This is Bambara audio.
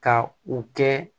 Ka u kɛ